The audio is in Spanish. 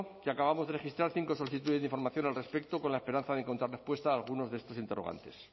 que acabamos de registrar cinco solicitudes de información al respecto con la esperanza de encontrar respuesta a algunos de estos interrogantes